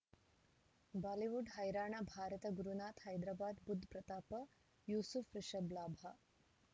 Bollywood ಹೈರಾಣ ಭಾರತ ಗುರುನಾಥ ಹೈದರಾಬಾದ್ ಬುಧ್ ಪ್ರತಾಪ ಯೂಸುಫ್ ರಿಷಬ್ ಲಾಭ